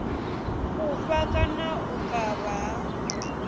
fhufha kana u kavha ha